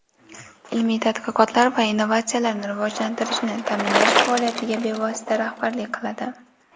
ilmiy tadqiqotlar va innovatsiyalarni rivojlantirishni taʼminlash faoliyatiga bevosita rahbarlik qiladi.